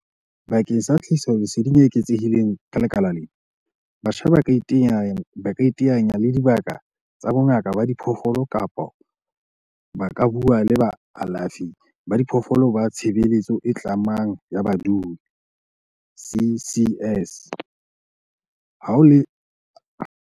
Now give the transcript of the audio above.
Bakeng sa tlhahisoleseding e eketsehileng ka lekala lena, batjha ba ka iteanya le dibaka tsa bongaka ba diphoofolo kapa ba ka bua le baalafi ba diphoofolo ba tshebeletso e tlamang ya badudi, CCS, bao e leng karolo ya Lefapha la Temothuo, Tlhabollo ya Mobu le Ntshetsopele ya Dibaka tsa Mahae, DALRRD, ho phatlalla le naha.